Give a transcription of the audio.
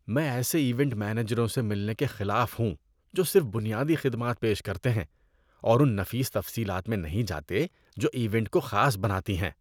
میں ایسے ایونٹ مینیجروں سے ملنے کے خلاف ہوں جو صرف بنیادی خدمات پیش کرتے ہیں اور ان نفیس تفصیلات میں نہیں جاتے جو ایونٹ کو خاص بناتی ہیں۔